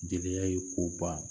Jenɛya ye ko ba